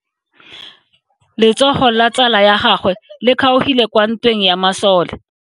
Letsogo la tsala ya gagwe le kgaogile kwa ntweng ya masole.